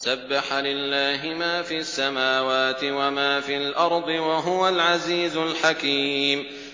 سَبَّحَ لِلَّهِ مَا فِي السَّمَاوَاتِ وَمَا فِي الْأَرْضِ ۖ وَهُوَ الْعَزِيزُ الْحَكِيمُ